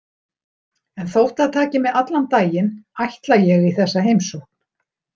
En þótt það taki mig allan daginn ætla ég í þessa heimsókn.